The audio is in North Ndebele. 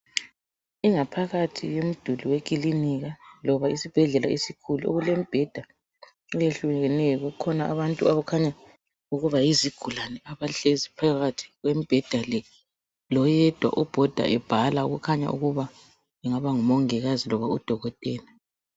Ingaphakathi yemiduli wekilinika loba esibhedlela esikhulu, kulemibheda eyehlukeneyo kukhona abantu abakhanya ukuba yizigulane abahlezi phakathi kwembheda le, loyedwa obhoda ebhala okhanya ukuba engaba ngumongikazi loba udokotela.